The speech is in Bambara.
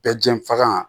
Bɛɛ jɛn faga